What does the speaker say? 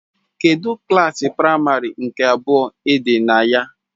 Kedu klasị práịmarị nke abụọ Ị̀dì na ya